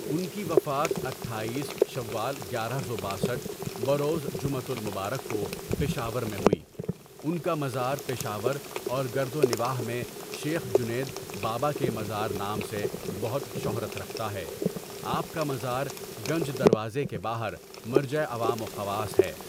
ان کی وفات اٹھایس شوال گیارہ سو باسٹھ بروزجمعۃالمبارک کو پشاور میں ہوئی ان کا مزار پشاور اور گردو نواح میں شیخ جنید بابا کے مزار نام سے بہت شہرت رکھتا ہے آپ کا مزار گنج دروازہ کے باہر مرجع عوام و خواص ہے.